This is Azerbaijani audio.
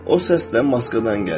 O səs də maskadan gəlir.